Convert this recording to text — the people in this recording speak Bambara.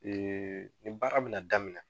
nin baara bɛ na daminɛ.